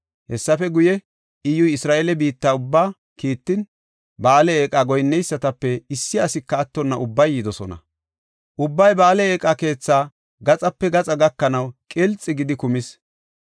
Hessafe guye, Iyyuy Isra7eele biitta ubbaa kiittin, Ba7aale eeqa goyinneysatape issi asika attonna ubbay yidosona. Ubbay Ba7aale eeqa keetha gaxape gaxa gakanaw qilxi gidi kumis.